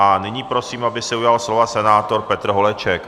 A nyní prosím, aby se ujal slova senátor Petr Holeček.